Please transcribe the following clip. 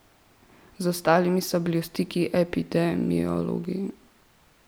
Z ostalimi so bili v stiku epidemiologi.